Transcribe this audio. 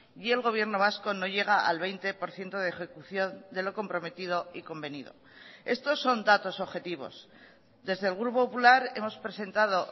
y el gobierno vasco no llega al veinte por ciento de ejecución de lo comprometido y convenido estos son datos objetivos desde el grupo popular hemos presentado